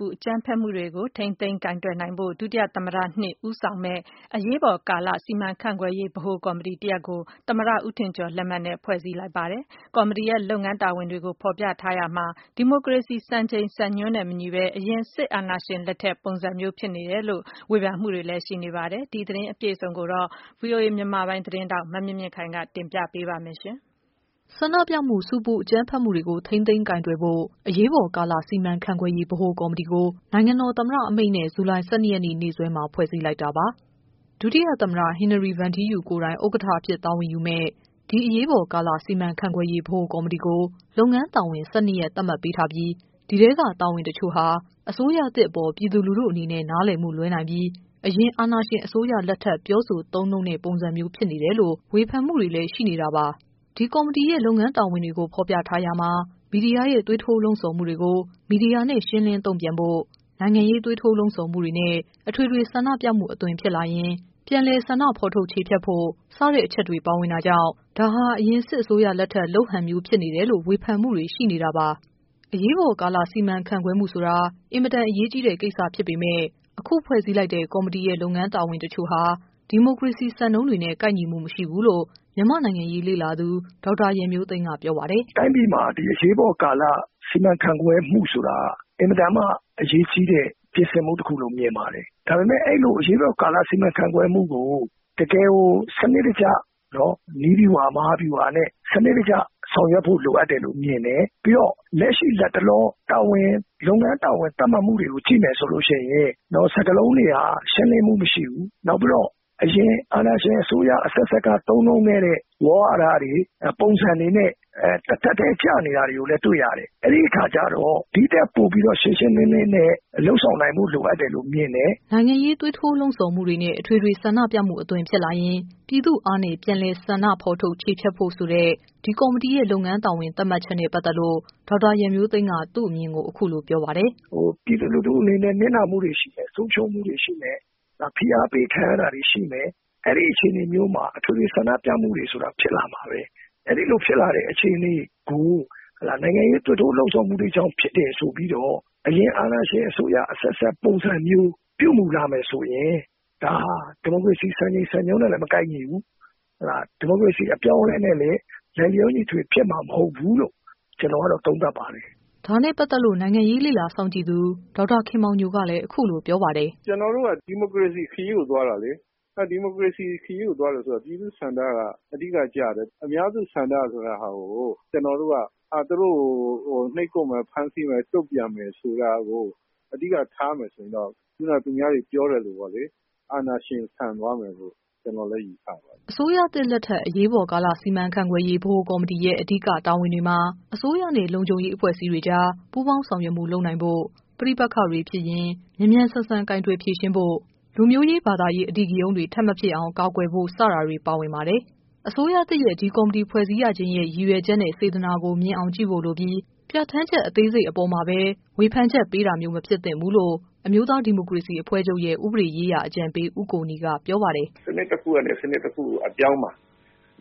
ပူအကြမ်းဖက်မှုတွေကို ထိန်းသိမ်းကိုင်တွယ်နိုင်ဖို့ ဒုသမ္မတ(၂) ဦးဆောင်မယ့် “အရေးပေါ်ကာလ စီမံခန့်ခွဲရေး ဗဟိုကော်မတီ” တရပ်ကို သမ္မတဦးထင်ကျော် လက်မှတ်နဲ့ ဖွဲ့စည်းလိုက်ပါတယ်။ ကော်မတီရဲ့ လုပ်ငန်း တာဝန်တွေကို ဖော်ပြထားရာမှာ ဒီမိုကရေစီ စံချိန်စံညွှန်းနဲ့ မညီပဲ အရင် စစ်အာဏာရှင် လက်ထက် ပုံစံမျိုးဖြစ်နေတယ် ဆိုပြီး ဝေဖန်မှုတွေ ရှိနေပါတယ်။ ဒီသတင်း အပြည့်အစုံကိုတော့ ဗွီအိုအေ သတင်း ထောက် မမြင့်မြင့်ခိုင်က တင်ပြထားပါတယ်။ ူ ဆန္ဒပြမှု၊ ဆူပူအကြမ်းဖက်မှုတွေကို ထိန်းသိမ်းကိုင်တွယ်ဖို့ အရေးပေါ်ကာလ စီမံခန့်ခွဲရေး ဗဟိုကော်မတီကို နိုင်ငံတော် သမ္မတအမိန့်နဲ့ ဇူလိုင်လ ၁၂ရက် နေ့စွဲမှာ ဖွဲ့စည်းလိုက်တာပါ။ ဒုတိယ သမ္မတ ဟင်နရီ ဗန်ထီးယူကိုယ်တိုင် ဥက္ကဌအဖြစ် တာဝန်ယူမယ့် ဒီ အရေးပေါ်ကာလ စီမံခန့် ခွဲရေး ဗဟိုကော်မတီကို လုပ်ငန်းတာဝန် ၁၂ရပ် သတ်မှတ်ပေးထားပြီး ဒီထဲက တာဝန်တချို့ဟာ အစိုးရသစ် အပေါ် ပြည်သူလူထု အနေနဲ့ နားလည်မှုလွဲနိုင်ပြီး အရင် အာဏာရှင် အစိုးရလက်ထက် ပြောဆို သုံးနှုန်းတဲ့ ပုံစံမျိုး ဖြစ်နေတယ် လို့ ဝေဖန်မှုတွေရှိနေတာပါ။ ဒီကော်မတီရဲ့ လုပ်ငန်းတာဝန်တွေ ဖော်ပြထားရာမှာ မီဒီယာရဲ့သွေးထိုး လှုံဆော်မှုတွေကို မီဒီယာနဲ့ ရှင်းလင်းတုန့်ပြန်ဖို့၊ နိုင်ငံရေးသွေးထိုးလှုံဆော်မှုနဲ့ အထွေထွေ ဆန္ဒပြမှု အသွင်ဖြစ်လာရင် ပြည်သူ့အား ယူပြီး ပြန်လည် ဆန္ဒဖော်ထုတ်ချေဖျက်ဖို့ စတဲ့ အချက်တွေပါဝင်တာကြောင့်၊ ဒါဟာအရင် စစ်အစိုးရ လက်ထက် လုပ်ဟန်မျိုးဖြစ် တယ်လို့ ဝေဖန်မှုတွေရှိနေတာပါ။ အရေးပေါ်ကာလ စီမံခန့်ခွဲမှုဆိုတာ အင်မတန်အရေးကြီးတဲ့ ကိစ္စဖြစ်ပေမယ့် အခု ဖွဲ့စည်းလိုက်တဲ့ ကော်မတီရဲ့ လုပ်ငန်းတာဝန် အချို့ဟာ ဒီမိုကရေစီ စံနှုန်းတွေနဲ့ ကိုက်ညီမှု မရှိဘူးလို့ မြန်မာ့နိုင်ငံရေး လေ့လာသူ ဒေါက်တာ ရန်မျိုးသိမ်း က ပြောပါတယ်။ "တိုင်းပြည်မှာ အရေးပေါ်ကာလစီမံခန့်ခွဲမှုဆိုတာ အင်မတန်မှ အရေးကြီးတဲ့ပြင်ဆင်မှု လို့ ထင်ပါတယ်။ ဒါပေမဲ့ အဲ့ဒီ့လို အရေးပေါ်ကာလ စီမံခန့်ခွဲမှု ကို တကယ် ကို စနစ်တကျ နည်းဗျူဟာ မဟာဗျူဟာနဲ့ စနစ်တကျ ဆောင်ရွက်ဖို့ လိုအပ်တယ်လို့မြင်တယ်။ ပြီးတော့ လက်ရှိ လတ်တလော လုပ်ငန်းတာဝန် သတ်မှတ်မှုတွေကို ကြည့်မယ်ဆိုလို့ရှိရင် စကားလုံးတွေက ရှင်းလင်းမှု မရှိဘူး။ နောက်ပြီးတော့ အရင်အာဏာရှင် အစိုးရအဆက်ဆက်က သုံးနှုံးခဲ့တဲ့ ဝေါဟာရတွေ ပုံစံတွေနဲ့ တထပ်တည်း ကျနေတာတွေကို လည်း တွေ့ရတယ်။ အဲ့ဒီ့အခါကျတော့ ဒီ့ထက်ပိုပြီးတော့ ရှင်းရှင်းလင်းလင်းနဲ့ လုပ်ဆောင်နိုင်ဖို့ လိုအပ်တယ်လို့ မြင်တယ်။ " နိုင်ငံရေး သွေးထိုးလှုံ့ဆော်မှုတွေနဲ့ အထွေထွေ ဆန္ဒပြမှု အသွင်ဖြစ်လာ ရင် ပြည်သူ့အား နဲ့ ပြန်လည် ဆန္ဒဖော်ထုတ် ချေဖျက်ဖို့ဆိုတဲ့ ဒီကော်မတီရဲ့ လုပ်ငန်းတာဝန် သတ်မှတ်ချက်နဲ့ ပတ်သက်လို့ ဒေါက်တာ ရန်မျိုးသိမ်းက သူ့အမြင်ကို အခုလို ပြောပါတယ်။ " ပြည်သူလူထုအနေနဲ့ နစ်နာမှုတွေရှိမယ်။ ဆုံးရှုံးမှုတွေရှိမယ်။ ဖိအားပေးခံရ တာတွေ ရှိမယ်။ အဲ့ဒီ့အခြေအနေမျိုးမှာ အထွေထွေ ဆန္ဒပြမှုတွေရှိမယ် ဆိုတာလည်း ဖြစ် လာမှာပဲ။ ဒီလို ဖြစ်လာမယ့် အခြေအနေကို နိုင်ငံရေးသွေးထိုး လှုံ့ဆော်မှုတွေကြောင့် ဖြစ်တယ်ဆိုပြီး အရင်အာဏာရှင်အစိုးရ အဆက်ဆက် ပုံစံမျိုး ပြုမှုလာမယ်ဆိုရင် ဒါဟာ ဒီမိုကရေစီစံချိန်စံညွှန်းနဲ့မကိုက်ညီဘူး။ ဒီမိုကရေစီအပြောင်းအလဲနဲ့လည်း လိုက်လျောညီထွေ ဖြစ်မှာမဟုတ်ဘူးလို့ ကျနော်ကတော့ သုံးသပ်ပါတယ်။" ဒါနဲ့ ပတ်သက်လို့ နိုင်ငံရေးလေ့လာ စောင့်ကြည့်သူ ဒေါက်တာခင်မောင်ညိုကလည်း အခုလို ပြော ပါ တယ်။ " ကျနော်တို့က ဒီမိုကရေစီခရီးကို သွားတာလေ။ ဒီမိုကရေစီခရီးကို သွားတယ် ဆိုတာ ပြည်သူ့ဆန္ဒက အဓိက ကျတယ်။ အများစုဆန္ဒဆိုတာ သူတို့ကို နှိပ်ကွပ်မယ်။ ဖမ်းဆီးမယ်။ တုန့်ပြန်မယ် ဆိုတာကို အဓိက ထားမယ် ဆိုရင်တော့ သူများတွေ ပြောသလို အာဏာရှင်ဆန်သွားမယ်လို့ ကျနော်လည်း ယူဆပါတယ်။" အစိုးရသစ်လက်ထက် အရေးပေါ်ကာလ စီမံခန့်ခွဲရေး ဗဟိုကော်မတီရဲ့ အဓိက တာဝန်တွေမှာ အစိုး ရနဲ့ လုံခြုံရေး အဖွဲ့အစည်းတွေကြား ပူးပေါင်းဆောင်ရွက်မှု လုပ်နိုင်ဖို့၊ ပဋိပက္ခတွေဖြစ်ရင် မြန်မြန် ဆန် ဆန် ကိုင်တွယ် ဖြေရှင်းဖို့၊ လူမျိုးရေး၊ ဘာသာရေး အဓိကရုဏ်းတွေ ထပ်မဖြစ်ပွားအောင် ကာကွယ်ဖို့ စတာတွေ ပါဝင်ပါတယ်။ အစိုးရသစ်ရဲ့ ဒီကော်မတီဖွဲ့စည်းရခြင်းရဲ့ ရည်ရွယ်ချက်၊ စေတနာ ကို မြင်အောင်ကြည့်ဖို့ လိုပြီး ပြဌာန်း ချက် အသေးစိတ် အပေါ်မှာပဲ ဝေဖန်ချက်ပေးတာမျိုး မဖြစ်သင့်ဘူးလို့ အမျိုးသားဒီမိုကရေစီအဖွဲ့ချုပ်ရဲ့ ဥပဒေရေးရာ အကြံပေးဦးကိုနီက ပြောပါတယ်။ " စနစ်တခုကနေ စနစ်တခုကို အပြောင်းမှာ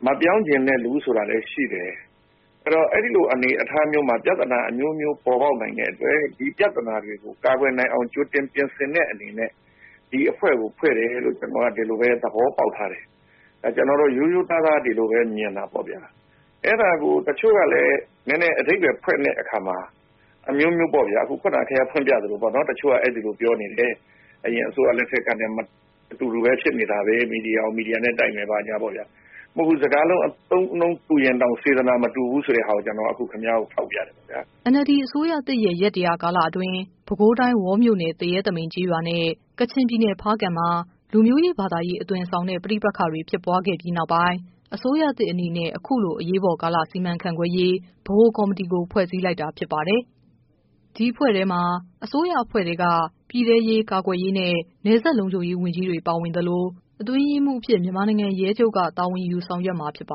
မပြောင်းချင်တဲ့သူဆိုတာလည်း ရှိတယ်။ အဲ့တော့ အဲ့လိုအနေအထားအမျိုးမျိုးမှာ ပြဿနာ အမျိုးမျိုး ပေါ်ပေါက်နိုင်တဲ့အတွက် ဒီပြဿနာတွေကို ကာကွယ်နိုင်အောင် ကြိုတင်ပြင်ဆင်တဲ့ အနေနဲ့ ဒီအဖွဲ့ကို ဖွဲ့တယ်လို့ ကျနော်က သဘောပေါက်ထားတယ်။ ကျနော်ကတော့ ရိုးရိုးသားသား ဒီလိုပဲမြင်တာပေါ့ဗျာ။ အဲ့တာကို တချို့က အဓိပါယ်ဖွင့်တဲ့အခါမှာ အမျိုးမျိုး ဖွင့်ကြတဲ့အခါ တချို့ကလည်း အဲ့လိုပြောကြတယ်။ အရင်အစိုးရ လက်ထက်ကနဲ့ အတူတူပဲဖြစ်နေတာပဲ။ မီဒီယာကို မီဒီယာနဲ့တိုက်မယ် ဘာညာပေါ့ဗျာ။ စကားလုံး အသုံးအနှုံးတူရင်တောင် စေတနာမတူဘူးဆိုတာ ခင်ဗျားကို ထောက်ပြချင်တယ်ဗျာ။" NLD အစိုးရသစ်ရဲ့ ရက် ၁၀၀ ကာလအတွင်း ပဲခူးတိုင်း ဝေါမြို့နယ် သရဲ သမိန်ကျေးရွာနဲ့ ကချင် ပြည်နယ် ဖားကန့်မှာ လူမျိုးရေး၊ ဘာသာရေး အသွင်ဆောင်တဲ့ ပဋိပက္ခတွေဖြစ်ခဲ့ပြီးနောက်ပိုင်း အစိုးရ သစ်အနေနဲ့ အခုလို အရေးပေါ်ကာလစီမံခန့်ခွဲရေး ဗဟိုကော်မတီကို ဖွဲ့စည်းလိုက်တာလည်း ဖြစ်ပါ တယ်။ ဒီအဖွဲ့ထဲမှာ အစိုးရအဖွဲ့ထဲက ပြည်ထဲရေး ကာကွယ်ရေးနဲ့ နယ်စပ်လုံခြုံရေး ဝန်ကြီးတွေ ပါ ဝင် သလို၊ အတွင်းရေးမှူးအဖြစ် မြန်မာနိုင်ငံရဲချုပ်က တာဝန်ယူဆောင်ရွက်မှာဖြစ်ပါ